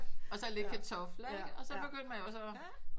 Og så lidt kartofler ikke og så begyndte man jo så